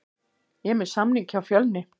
Ég er með samning hjá Fjölni.